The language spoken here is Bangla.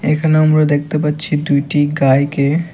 এখানে আমরা দেখতে পাচ্ছি দুইটি গাইকে।